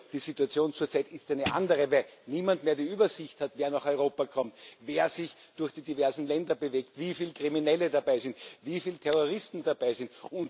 Nur die Situation zurzeit ist eine andere, weil niemand mehr die Übersicht hat, wer nach Europa kommt, wer sich durch die diversen Länder bewegt, wieviel Kriminelle dabei sind, wieviel Terroristen dabei sind.